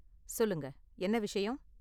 சொல்லுங்க, என்ன விஷயம்?